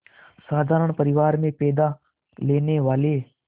साधारण परिवार में पैदा लेने वाले